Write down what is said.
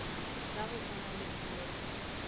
la go swana le mmepe